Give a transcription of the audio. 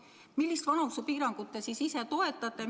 Millist vanusepiirangut te ise toetate?